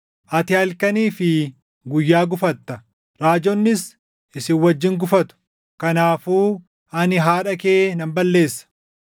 Ati halkanii fi guyyaa gufatta; raajonnis isin wajjin gufatu. Kanaafuu ani haadha kee nan balleessa;